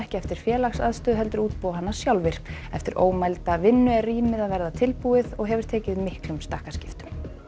eftir félagsaðstöðu heldur útbúa hana sjálfir eftir ómælda vinnu er rýmið að verða tilbúið og hefur tekið miklum stakkaskiptum